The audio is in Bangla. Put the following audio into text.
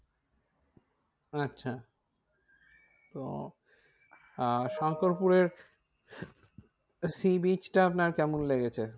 আচ্ছা তো আহ শঙ্করপুরে sea beach টা আপনার কেমন লেগেছে?